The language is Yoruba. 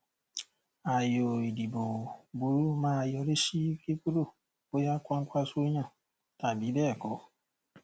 ayò ìdìbò burú máa yọrí sí kíkúrò bóyá kwakwanso yàn tàbí béẹkọ